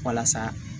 Walasa